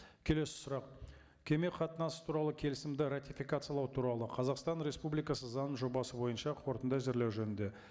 келесі сұрақ кеме қатынасы туралы келісімді ратификациялау туралы қазақстан республикасы заңының жобасы бойынша қорытынды әзірлеу жөнінде